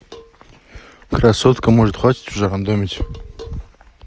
красотка может хватит уже рандомить